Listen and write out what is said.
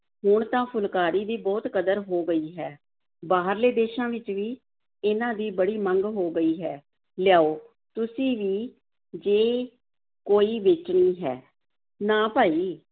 ਹੁਣ ਤਾਂ ਫੁਲਕਾਰੀ ਦੀ ਬਹੁਤ ਕਦਰ ਹੋ ਗਈ ਹੈ, ਬਾਹਰਲੇ ਦੇਸਾਂ ਵਿੱਚ ਵੀ ਇਹਨਾਂ ਦੀ ਬੜੀ ਮੰਗ ਹੋ ਗਈ ਹੈ, ਲਿਆਓ, ਤੁਸੀਂ ਵੀ ਜੇ ਕੋਈ ਵੇਚਣੀ ਹੈ, ਨਾ ਭਾਈ